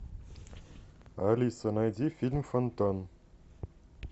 алиса найди фильм фонтан